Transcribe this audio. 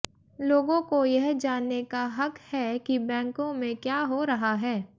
लोगों को यह जानने का हक है कि बैंकों में क्या हो रहा है